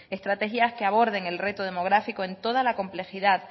estrategias que aborden el reto demográfico en toda la complejidad